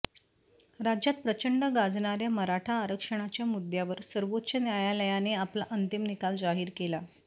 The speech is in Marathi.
राज्यात प्रचंड गाजणाऱ्या मराठा आरक्षणाच्या मुद्द्यावर सर्वोच्च न्यायालयाने आपला अंतिम निकाल जाहीर केला